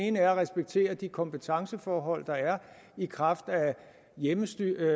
ene er at respektere de kompetenceforhold der er i kraft af hjemmestyreaftaler